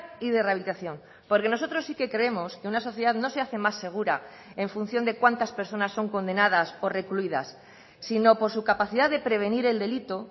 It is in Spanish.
y de rehabilitación porque nosotros sí que creemos que una sociedad no se hace más segura en función de cuántas personas son condenadas o recluidas sino por su capacidad de prevenir el delito